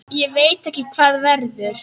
Ég veit ekki hvað verður.